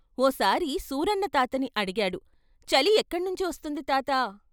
ఓ సారి సూరన్న తాతని అడిగాడు "చలి ఎక్కణ్ణించి వస్తుంది తాతా!